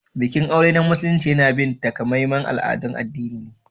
Bikin aure na Musulunci yana bin takamaiman al'adun addini ne.